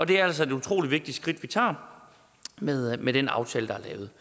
det er altså et utrolig vigtigt skridt vi tager med med den aftale der er lavet